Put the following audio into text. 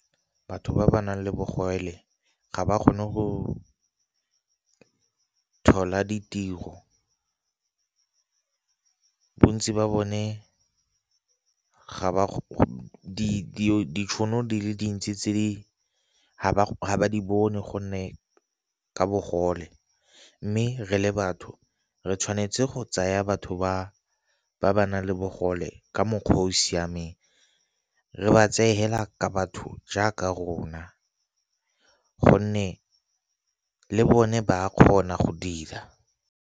Batho ba ba nang le bogole ga ba kgone go thola ditiro, bontsi ba bone ditšhono di le dintsi tse di ga di bone gonne ka bogole. Mme re le batho re tshwanetse go tsaya batho ba ba nang le bogole ka mokgwa o o siameng, re ba tseye hela ka batho jaaka rona gonne le bone ba kgona go dira.